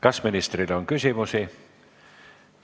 Kas ministrile on küsimusi?